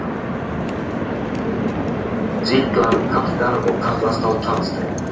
Sýklan kalkar og kallast þá tannsteinn.